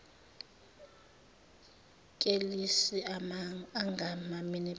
kelisi angama minibus